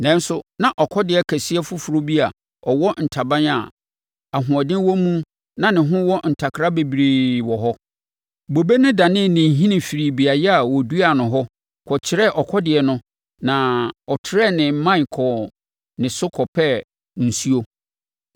“ ‘Nanso na ɔkɔdeɛ kɛseɛ foforɔ bi a ɔwɔ ntaban a ahoɔden wo mu na ne ho wɔ ntakra bebree wɔ hɔ. Bobe no danee ne nhini firii beaeɛ a wɔduaa no hɔ kyerɛɛ ɔkɔdeɛ no na ɔtrɛɛ ne mman kɔɔ ne so kɔpɛɛ nsuo.